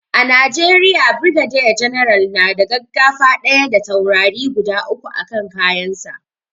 A najeriya brigadier general na da gaggafa ɗaya da taurari guda uku a kan kayan sa